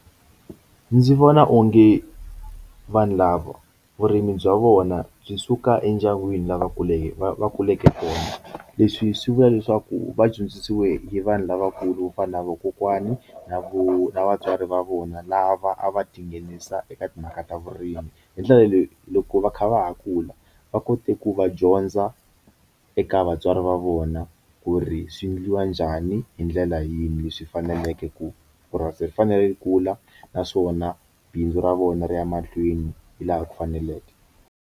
Ndzi vona onge vanhu lava vurimi bya vona byi suka endyangwini lavakuleke va kuleke kona leswi swi vula leswaku va dyondzisiwe hi vanhu lavakulu kufana na vakokwani na vo na vatswari va vona lava a va tinghenisa eka timhaka ta vurimi hi ndlela leyi loko va kha va ha kula va kote ku va dyondza eka vatswari va vona ku ri swi endliwa njhani hi ndlela yini leswi faneleke ku purasi ri fanele ri kula naswona bindzu ra vona ri ya mahlweni hi laha ku faneleke.